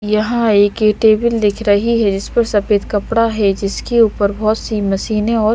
यहाँं एक ये टेबल दिख रही है जिस पर सफेद कपड़ा है जिसके ऊपर बहुत-सी मशीनें और--